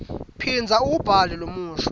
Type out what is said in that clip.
phindza uwubhale lomusho